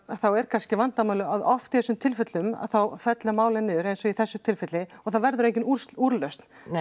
þá er kannski vandamálið að oft í þessum tilfellum þá fellur málið niður eins og í þessu tilfelli og það verður engin úrlausn